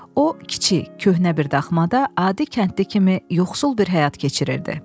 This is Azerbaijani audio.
O, kiçik köhnə bir daxmada adi kəndli kimi yoxsul bir həyat keçirirdi.